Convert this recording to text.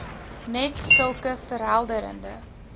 net sulke verhelderende